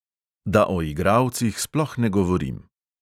Da o igralcih sploh ne govorim.